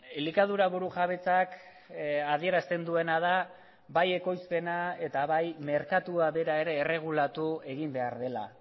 elikadura burujabetzak adierazten duena da bai ekoizpena eta bai merkatua bera ere erregulatu egin behar dela